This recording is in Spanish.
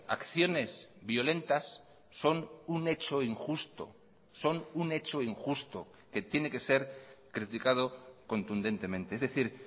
acciones violentas son un hecho injusto son un hecho injusto que tiene que ser criticado contundentemente es decir